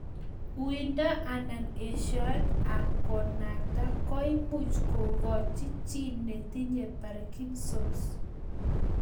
Uindo anan eshoet ap konakta ,koimuch kokoch chii netinye parkinson's